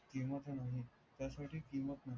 किमत नाही त्यासाठी